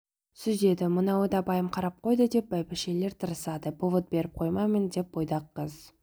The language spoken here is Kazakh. сүзеді мынауы да байым қарап қойды деп бәйбішелер тырысады повод беріп қоймайын деп бойдақ қыз